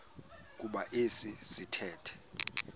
kuba esi sithethe